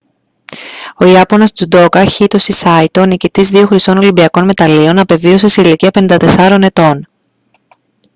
ο ιάπωνας τζουντόκα χίτοσι σάιτο νικητής δύο χρυσών ολυμπιακών μεταλλίων απεβίωσε σε ηλικία 54 ετών